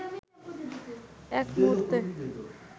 এক মুহূর্তে